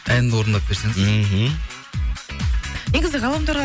әнін орындап берсеңіз мхм негізі ғаламторға